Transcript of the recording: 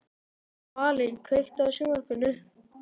Dvalinn, kveiktu á sjónvarpinu.